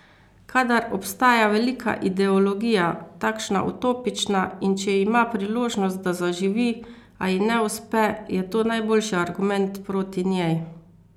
Kadar obstaja velika ideologija, takšna utopična, in če ima priložnost, da zaživi, a ji ne uspe, je to najboljši argument proti njej.